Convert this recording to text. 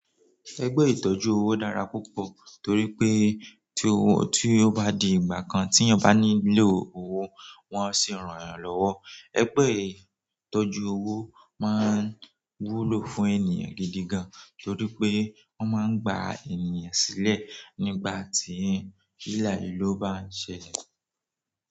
Ẹgbẹ́ ìtọ́jú owó dára púpọ̀ torí pé tí ó bá di ìgbà kan tí èèyàn bá nílò owó wọn sì ràn yán lọ́wọ́. Ẹgbẹ́ ìtọ́jú owó máa ń wúlò fún ènìyàn gidi gan torí pé wọ́n máa ń gba ènìyàn sílẹ̀ nígbà tí ìlàhilo bá ń ṣẹlẹ̀.